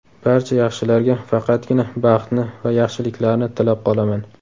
Barcha yaxshilarga faqatgina baxtni va yaxshiliklarni tilab qolaman!